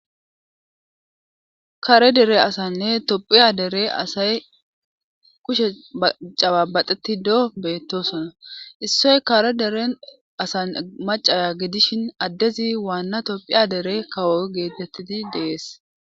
kare dere asanne tophiya dere asay kushe cababaxeti doo beettosona issoy kare deren asan macaya gidishin addezi waanna tophiya dere kawo geetettidi dees